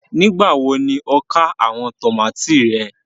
Nígbàwọ́ ni o kà awọn tomati rẹ?